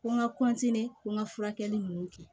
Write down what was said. Ko n ka ko n ka furakɛli ninnu kɛ